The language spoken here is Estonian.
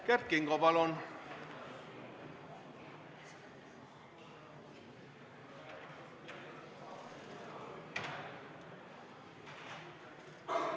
Kert Kingo, palun!